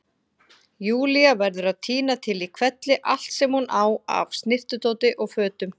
Júlía verður að tína til í hvelli allt sem hún á af snyrtidóti og fötum.